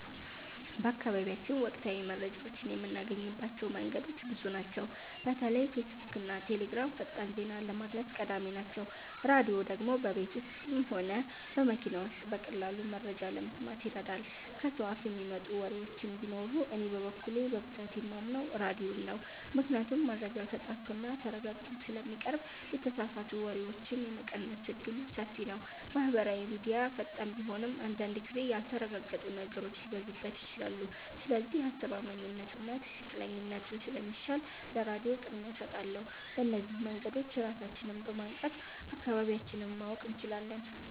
በአካባቢያችን ወቅታዊ መረጃዎችን የምናገኝባቸው መንገዶች ብዙ ናቸው። በተለይ ፌስቡክና ቴሌግራም ፈጣን ዜና ለማድረስ ቀዳሚ ናቸው። ራድዮ ደግሞ በቤት ውስጥም ሆነ በመኪና ውስጥ በቀላሉ መረጃ ለመስማት ይረዳል። ከሰው አፍ የሚመጡ ወሬዎችም ቢኖሩ እኔ በበኩሌ በብዛት የማምነው ራድዮን ነው ምክንያቱም መረጃው ተጣርቶና ተረጋግጦ ስለሚቀርብ የተሳሳቱ ወሬዎችን የመቀነስ እድሉ ሰፊ ነው። ማህበራዊ ሚድያ ፈጣን ቢሆንም አንዳንድ ጊዜ ያልተረጋገጡ ነገሮች ሊበዙበት ይችላሉ። ስለዚህ አስተማማኝነቱና ትክክለኛነቱ ስለሚሻል ለራድዮ ቅድሚያ እሰጣለሁ። በእነዚህ መንገዶች ራሳችንን በማንቃት አካባቢያችንን ማወቅ እንችላለን።